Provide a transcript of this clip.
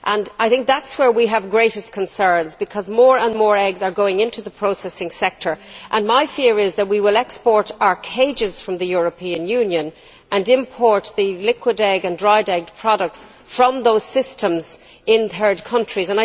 I think this is where we have the greatest concerns because more and more eggs are going into the processing sector, and my fear is that we will export our cages from the European Union and then import liquid egg and dried egg products from those very systems in third countries.